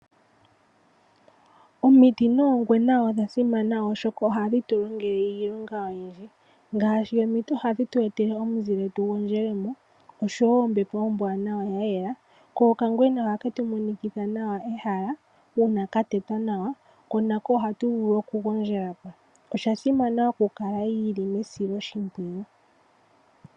Omiti noongwena odha simana, oshoka ohadhi tu longele iilonga oyindji ngaashi omiti ohadhi tu etele omuzile tu gondjele mo, oshowo ombepo ombwaanawa ya yela, ko okangwena ohake tu monikitha nawa ehala, uuna ka tetwa nawa, ko nako ohatu vulu oku gondjela po. Osha simana oku kala yili mesiloshimpwiyu.